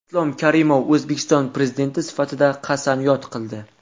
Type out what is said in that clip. Islom Karimov O‘zbekiston Prezidenti sifatida qasamyod qildi.